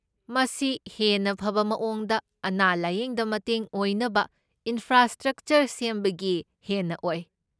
ꯃꯁꯤ ꯍꯦꯟꯅ ꯐꯕ ꯃꯑꯣꯡꯗ ꯑꯅꯥ ꯂꯥꯢꯌꯦꯡꯗ ꯃꯇꯦꯡ ꯑꯣꯏꯅꯕ ꯏꯟꯐ꯭ꯔꯥꯁ꯭ꯇꯔꯛꯆꯔ ꯁꯦꯝꯕꯒꯤ ꯍꯦꯟꯅ ꯑꯣꯏ꯫